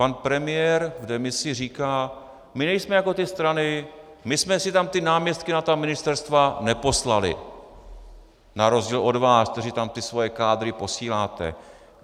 Pan premiér v demisi říká: My nejsme jako ty strany, my jsme si tam ty náměstky na ta ministerstva neposlali, na rozdíl od vás, kteří tam ty svoje kádry posíláte.